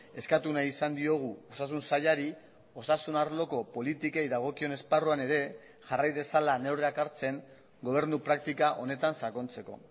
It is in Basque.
eskatu nahi izan diogu osasun sailari osasun arloko politikei dagokion esparruan ere jarrai dezala neurriak hartzen gobernu praktika honetan sakontzeko